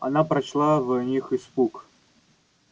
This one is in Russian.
она прочла в них испуг